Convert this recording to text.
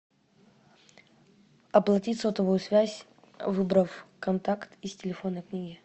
оплатить сотовую связь выбрав контакт из телефонной книги